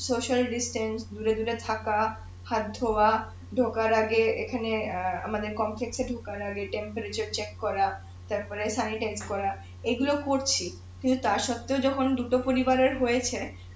দূরে দূরে থাকা হাত ধোয়া ঢোকার আগে এখানে অ্যাঁ আমাদের এ ঢোকার আগে করা তারপরে করা এইগুলো করছি সেটার স্বত্বেও যখন দুটো পরিবারের হয়েছে